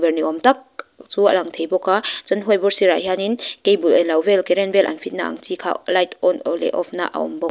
ni awm tak chu a lang thei bawk a chuan white board sirah hianin cable eng lo vel current vel an fit na ang chi kha light on leh off na a awm bawk.